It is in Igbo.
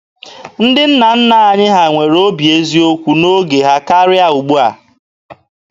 Ndị nna nna anyị ha nwere obi eziokwu n'oge ha karịa ndị ugbua.